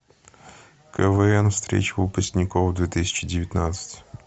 квн встреча выпускников две тысячи девятнадцать